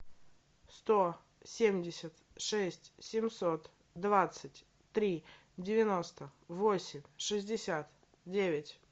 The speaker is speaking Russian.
сто семьдесят шесть семьсот двадцать три девяносто восемь шестьдесят девять